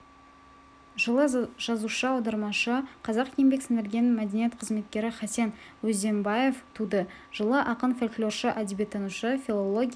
жылы жазушы аудармашы қазақ еңбек сіңірген мәдениет қызметкері хасен өзденбаев туды жылы ақын фольклоршы әдебиеттанушы филология